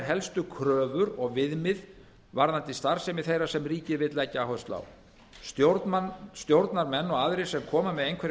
helstu kröfur og viðmið varðandi starfsemi þeirra sem ríkið vill leggja áherslu á stjórnarmenn og aðrir sem koma með einhverjum